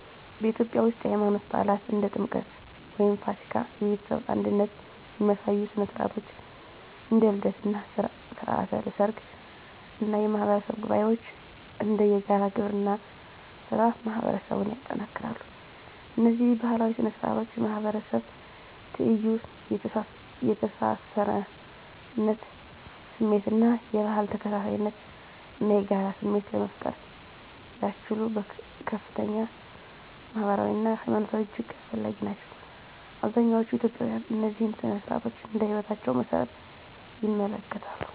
በኢትዮጵያ ውስጥ፣ የሃይማኖት በዓላት (እንደ ጥምቀት ወይም ፋሲካ)፣ የቤተሰብ አንድነት የሚያሳዩ ሥነ ሥርዓቶች (እንደ ልደት እና ሥርዓተ ሰርግ) እና የማህበረሰብ ጉባኤዎች (እንደ የጋራ ግብርና ሥራ) ማህበረሰቡን ያጠናክራሉ። እነዚህ ባህላዊ ሥነ ሥርዓቶች የማህበረሰብ ትይዩ፣ የተሳሳርነት ስሜት እና የባህል ተከታታይነት እና የጋራ ስሜት ለመፍጠር ያስችሉ ከፍተኛ ማህበራዊ አና ሀይማኖታዊ እጅግ አስፈላጊ ናቸው። አብዛኛዎቹ ኢትዮጵያውያን እነዚህን ሥነ ሥርዓቶች እንደ ህይወታቸው መሰረት ይመለከታሉ።